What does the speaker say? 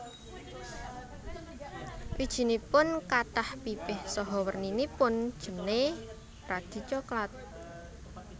Wijinipun kathah pipih saha werninipun jené radi soklat